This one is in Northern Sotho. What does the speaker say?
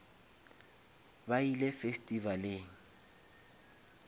ba ile festivaleng